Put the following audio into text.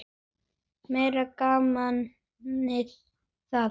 Meira gamanið það!